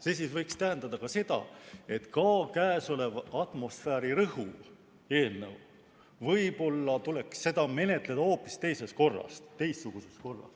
See võiks tähendada seda, et ka käesolevat atmosfääriõhu kaitse seaduse eelnõu tuleks võib-olla menetleda hoopis teistsuguses korras.